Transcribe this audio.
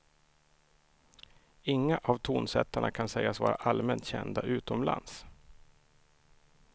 Inga av tonsättarna kan sägas vara allmänt kända utomlands.